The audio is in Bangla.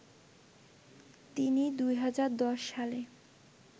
তিনি ২০১০ সালে